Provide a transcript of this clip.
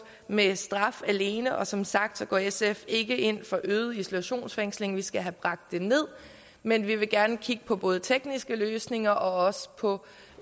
med straf alene og som sagt går sf ikke ind for øget isolationsfængsling for vi skal have bragt det ned men vi vil gerne kigge på både tekniske løsninger og også på